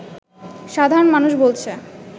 সাধারণ মানুষ বলছে